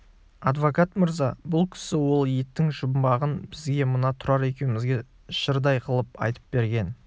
адвокат мырза бұл кісі ол еттің жұмбағын бізге мына тұрар екеумізге жырдай қылып айтып берген